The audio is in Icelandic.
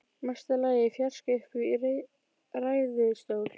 Mesta lagi í fjarska uppi í ræðustól.